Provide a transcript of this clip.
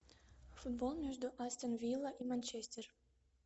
футбол между астон вилла и манчестер